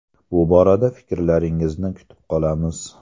Bu borada fikrlaringizni kutib qolamiz.